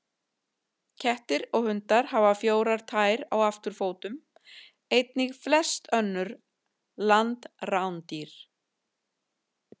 Kettir og hundar hafa fjórar tær á afturfótum, einnig flest önnur landrándýr.